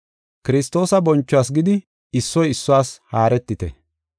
Kiristoosa bonchuwas gidi issoy issuwas haaretite.